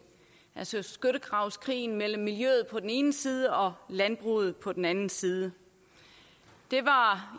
altså skyttegravskrigen mellem miljøet på den ene side og landbruget på den anden side det var